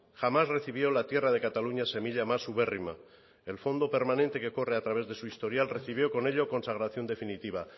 jamás recibió la tierra de cataluña semilla más ubérrima el fondo permanente que corre a través de su historial recibió con ello consagración definitiva